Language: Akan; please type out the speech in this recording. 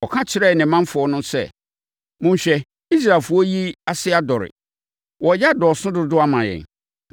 Ɔka kyerɛɛ ne mamfoɔ no sɛ, “Monhwɛ, Israelfoɔ yi ase adɔre, wɔreyɛ adɔɔso dodo ama yɛn.